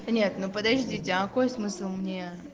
нет ну подождите а космоса но мне